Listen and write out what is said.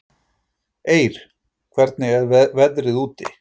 Eir, hvernig er veðrið úti?